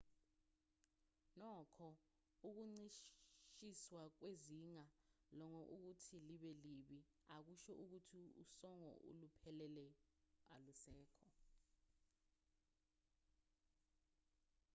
nokho ukuncishiswa kwezinga losongo ukuthi libe libi akusho ukuthi usongo oluphelele alusekho